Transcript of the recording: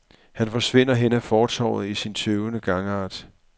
Han forsvinder hen ad fortovet i sin tøvende gangart.